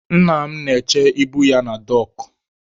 Nna m na-eche ibu ya na dọọkụ.